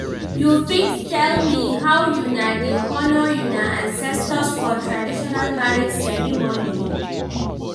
you fit tell me how una dey honour una ancestors for traditional marriage ceremony?